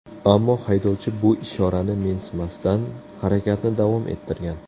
Ammo haydovchi bu ishorani mensimasdan, harakatni davom ettirgan.